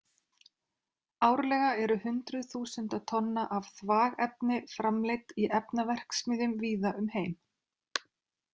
Árlega eru hundruð þúsunda tonna af þvagefni framleidd í efnaverksmiðjum víða um heim.